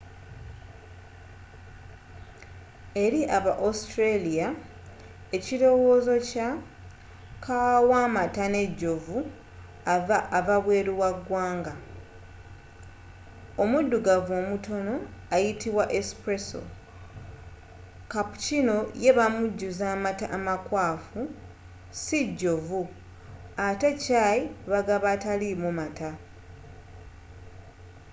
eri aba australia ekilowoozo kya kkaawa wa mata n'ejovu” ava bweru w'egwanga. omuddugavu omutono ayitibwa espresso” cappuccino ye bamujuza amata amakwafu ssi jovu ate chai bagaba ataliimu mata